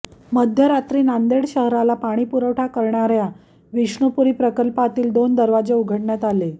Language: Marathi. मध्यरात्री नांदेड शहराला पाणीपुरवठा करणाऱ्या विष्णूपुरी प्रकल्पातील दोन दरवाजे उघडण्यात आले